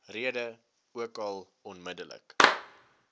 rede ookal onmiddellik